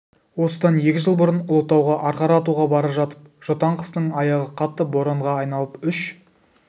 осыдан екі жыл бұрын ұлытауға арқар атуға бара жатып жұтаң қыстың аяғы қатты боранға айналып үш